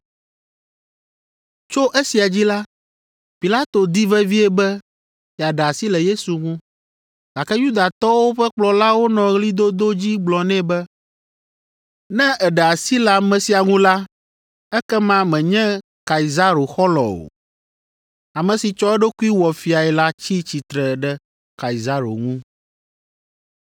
Tso esia dzi la, Pilato di vevie be yeaɖe asi le Yesu ŋu, gake Yudatɔwo ƒe kplɔlawo nɔ ɣlidodo dzi gblɔ nɛ be, “Ne èɖe asi le ame sia ŋu la, ekema mènye Kaisaro xɔlɔ̃ o. Ame si tsɔ eɖokui wɔ fiae la tsi tsitre ɖe Kaisaro ŋu.”